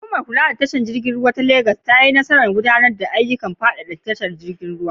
Hukumar kula da tashar jiragen ruwa ta Legas ta yi nasarar gudanar da ayyukan faɗaɗa tashar jiragen ruwa.